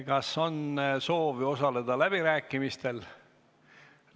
Kas on soovi osaleda läbirääkimistel?